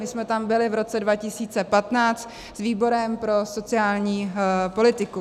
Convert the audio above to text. My jsme tam byli v roce 2015 s výborem pro sociální politiku.